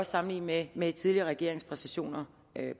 sammenlignet med tidligere regeringers præstationer